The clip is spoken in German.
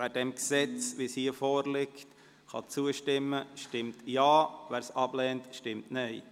Wer diesem Gesetz, wie es hier vorliegt, zustimmen kann, stimmt Ja, wer es ablehnt, stimmt Nein.